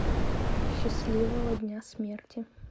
счастливого дня смерти